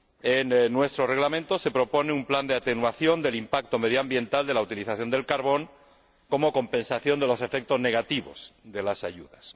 En nuestro Reglamento se propone un plan de atenuación del impacto medioambiental de la utilización del carbón como compensación de los efectos negativos de las ayudas.